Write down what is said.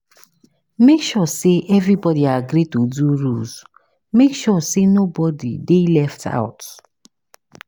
Make sure say everybody agree to do rules make sure say nobody de left out